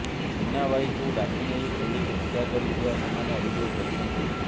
ଚିନ୍ନାବାଇକୁ ଡାକି ନେଇ ପୋଲିସ ହତ୍ୟା କରିଥିବା ସେମାନେ ଅଭିଯୋଗ କରିଛନ୍ତି